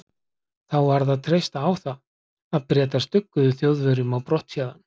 Þá varð að treysta á það, að Bretar stugguðu Þjóðverjum á brott héðan.